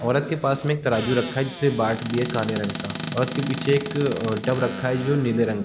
औरत के पास में एक तराजू रखा है जिसमें बाट भी है काले रगं का औरत के पीछे एक अ डव रखा है जो नीले रंग --